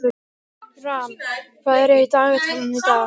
Ram, hvað er í dagatalinu í dag?